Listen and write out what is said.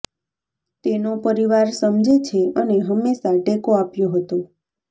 તેનો પરિવાર સમજે છે અને હંમેશા ટેકો આપ્યો હતો